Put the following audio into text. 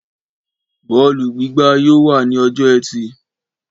Bọ́ọ̀lù gbígbá yóò wà ní ọjọ́ ẹtì